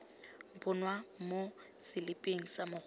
bonwa mo seliping sa mogolo